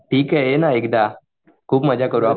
ठीक आहे ये ना एकदा खूप मजा करू आपण